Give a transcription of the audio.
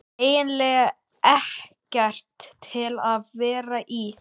eiginlega ekkert til að vera í.